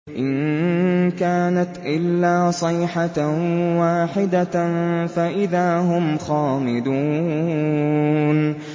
إِن كَانَتْ إِلَّا صَيْحَةً وَاحِدَةً فَإِذَا هُمْ خَامِدُونَ